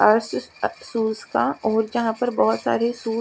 और फिर अर शुज का जहाँ पे बहोत साए शुज --